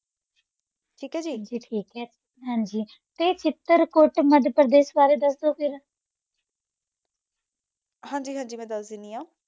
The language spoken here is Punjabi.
ਠੀਕ ਹੈ ਜੀ? ਹਾਂਜੀ ਠੀਕ ਹੈ। ਹਾਂਜੀ। ਤੇ ਚਿਤਰਕੂਟ ਮੱਧਪ੍ਰਦੇਸ਼ ਬਾਰੇ ਦੱਸੋ ਫੇਰ। ਹਾਂਜੀ ਹਾਂਜੀ ਮੈਂ ਦੱਸ ਦਿੰਦੀ ਆ